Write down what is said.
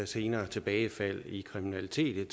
senere tilbagefald i kriminalitet